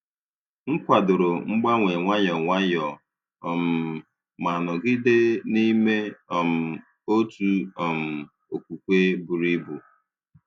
M kwàdòrò mgbanwe nwayọ nwayọ, um ma nọgide n’ime um otu um okwukwe buru ibu.